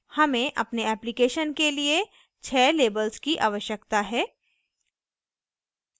हमे अपने application के लिए 6 labels की आवश्याकता है